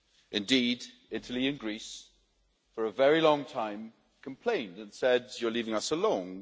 Indeed, Italy and Greece for a very long time complained and said you're leaving us alone